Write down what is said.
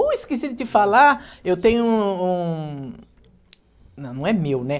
Uh, esqueci de te falar, eu tenho um um... Não, não é meu, né?